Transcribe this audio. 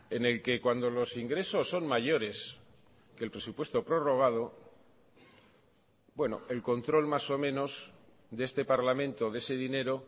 en el que cuando los ingresos son mayores que el presupuesto prorrogado bueno el control más o menos de este parlamento de ese dinero